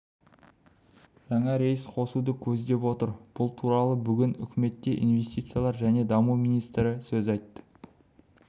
жаңа рейс қосуды көздеп отыр бұл туралы бүгін үкіметте инвестициялар және даму министрі айтты сөз